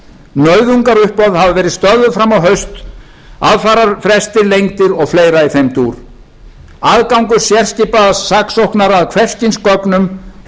nauðungaruppboð hafa verið stöðvuð fram á haust aðfararfrestir lengdir og fleira í þeim dúr aðgangur sérskipaðs saksóknara að hvers kyns gögnum hefur verið tryggður